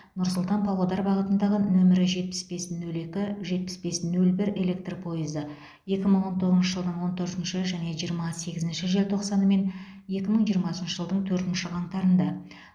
нұр сұлтан павлодар бағытындағы нөмірі жетпіс бес нөл екі жетпіс бес нөл бір электр пойызы екі мың он тоғызыншы жылдың он төртінші және жиырма сегізінші желтоқсаны мен екі мың жиырмасыншы жылдың төртінші қаңтарында